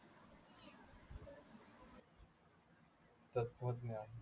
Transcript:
तत्वज्ञान